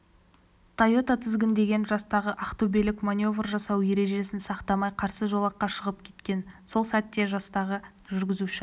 тойота тізгіндеген жастағы ақтөбелік маневр жасау ережесін сақтамай қарсы жолаққа шығып кеткен сол сәтте жастағы жүргізуші